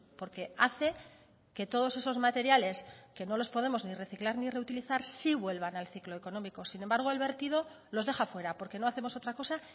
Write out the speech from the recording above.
porque hace que todos esos materiales que no los podemos ni reciclar ni reutilizar sí vuelvan al ciclo económico sin embargo el vertido los deja fuera porque no hacemos otra cosa